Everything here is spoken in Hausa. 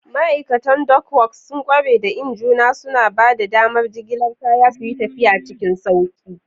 Ma'aikatan Dockworks sun ƙware da injuna, suna ba da damar jigilar kaya suyi tafiya cikin sauƙi.